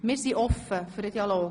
Wir sind offen für den Dialog.